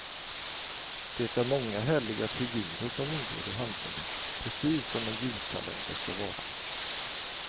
Det är många härliga figurer som ingår i handlingen, precis som en julkalender skall vara.